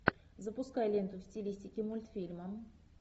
запускай ленту в стилистике мультфильма